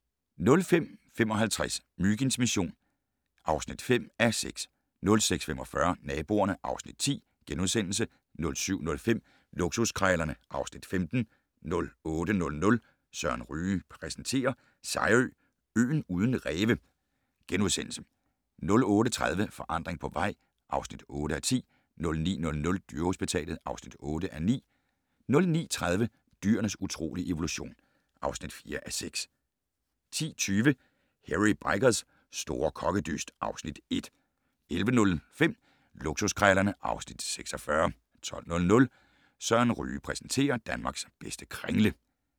05:55: Myginds mission (5:6) 06:45: Naboerne (Afs. 10)* 07:05: Luksuskrejlerne (Afs. 15) 08:00: Søren Ryge præsenterer: Sejerø - øen uden ræve * 08:30: Forandring på vej (8:10) 09:00: Dyrehospitalet (8:9) 09:30: Dyrenes utrolige evolution (4:6) 10:20: Hairy Bikers' store kokkedyst (Afs. 1) 11:05: Luksuskrejlerne (Afs. 46) 12:00: Søren Ryge præsenterer: Danmarks bedste kringle